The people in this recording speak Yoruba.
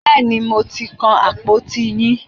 Bẹ́ẹ̀ni, mo ti kan àpòtí yín.